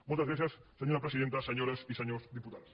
moltes gràcies senyora presidenta senyores i senyors diputats